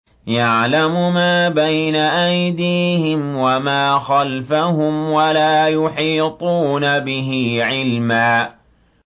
يَعْلَمُ مَا بَيْنَ أَيْدِيهِمْ وَمَا خَلْفَهُمْ وَلَا يُحِيطُونَ بِهِ عِلْمًا